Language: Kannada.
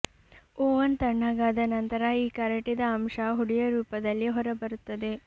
ಓವನ್ ತಣ್ಣಗಾದ ನಂತರ ಈ ಕರಟಿದ ಅಂಶ ಹುಡಿಯ ರೂಪದಲ್ಲಿ ಹೊರಬರುತ್ತದೆ